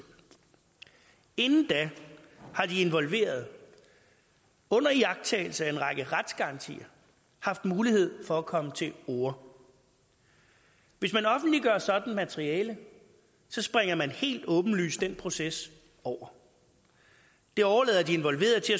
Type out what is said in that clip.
inden da har de involverede under iagttagelse af en række retsgarantier haft mulighed for at komme til orde hvis man offentliggør et sådant materiale springer man helt åbenlyst den proces over det overlader de involverede til